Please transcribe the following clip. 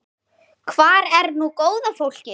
Hvar er nú góða fólkið?